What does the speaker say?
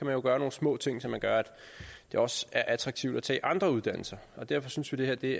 jo gøre nogle små ting som gør at det også er attraktivt at tage andre uddannelser derfor synes vi det